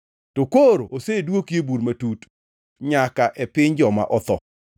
To koro osedwoki piny e bur matut nyaka e piny joma otho.